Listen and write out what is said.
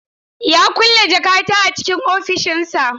Ya kulle jakata a cikin ofishinsa.